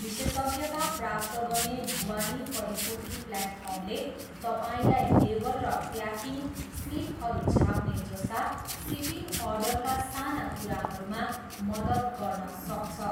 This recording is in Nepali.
विशेषज्ञता प्राप्त गर्ने ढुवानी परिपूर्ति प्लेटफर्मले तपाईँलाई लेबल र प्याकिङ स्लिपहरू छाप्ने जस्ता सिपिङ अर्डरका साना कुराहरूमा मद्दत गर्न सक्छ।